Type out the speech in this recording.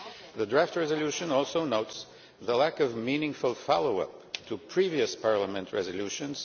The draft resolution also notes the lack of meaningful follow up to previous Parliament resolutions.